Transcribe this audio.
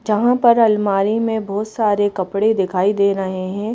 जहाँ पर अलमारी में बहुत सारे कपड़े दिखाई दे रहे हैं।